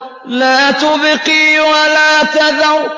لَا تُبْقِي وَلَا تَذَرُ